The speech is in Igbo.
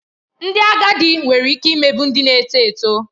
Ndị agadi nwere ike imegbu ndị na-eto eto